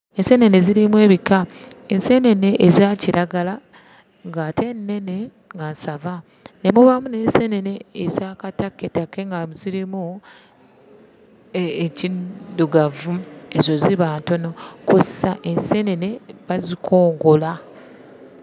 Enseenene zirimu ebika. Enseenene eza kiragala ng'ate nnene nga nsava. Ne mubaamu n'enseenene eza katakketakke nga zirimu ekiddugavu, ezo ziba ntono. Kw'ossa enseenene bazikongola.